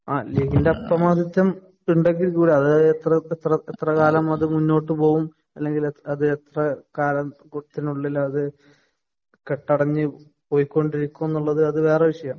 ആ ഇതിന്‍റെ അപ്രമാദിത്വം ഉണ്ടെങ്കില്‍ കൂടി എത്രകാലം അത് മുന്നോട്ടു പോകും, അല്ലെങ്കില്‍ എത്രകാലം കുടത്തിനുള്ളില്‍ അത് കെട്ടടങ്ങി പൊയ്ക്കൊണ്ടിരിക്കും എന്നുള്ളത് അത് വേറെ വിഷയം.;